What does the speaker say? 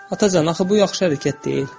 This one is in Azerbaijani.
Atacan, axı bu yaxşı hərəkət deyil.